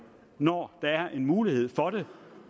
når der er en mulighed for det